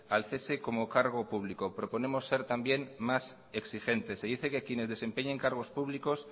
al cese como cargo público proponemos ser también más exigentes se dice que quienes desempeñen cargos públicos